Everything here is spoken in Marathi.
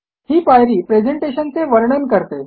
ही पायरी प्रेझेंटेशन चे वर्णन करते